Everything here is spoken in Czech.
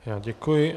Já děkuji.